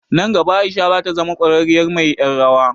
Nan gaba Aisha zata zama ƙwararriyar mai ƴar rawa.